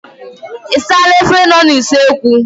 Ị saala efere nọ n'usekwu?